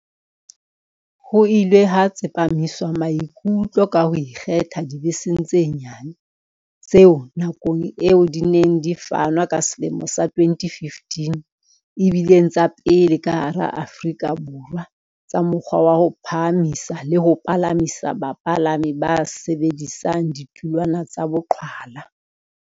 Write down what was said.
Ho ile ha tsepamiswa maikutlo ka ho ikgetha dibeseng tse nyane, tseo, nakong eo di neng di fanwa ka selemo sa 2015, e bileng tsa pele ka hara Aforika Borwa tsa mokgwa wa ho phahamisa le ho palamisa bapalami ba sebedisang ditulwana tsa boqhwala.